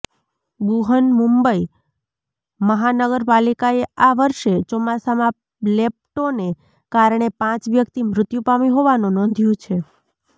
બૃહનમુંબઈ મહાનગર પાલિકાએ આ વર્ષે ચોમાસામાં લેપ્ટોને કારણે પાંચ વ્યક્તિ મૃત્યુ પામી હોવાનું નોંધ્યું છે